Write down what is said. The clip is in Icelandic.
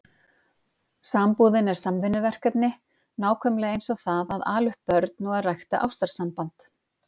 Sambúðin er samvinnuverkefni, nákvæmlega eins og það að ala upp börn og að rækta ástarsamband.